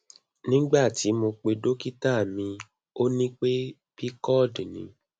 nigbati mo pe dokita mi o ni pe pcod ni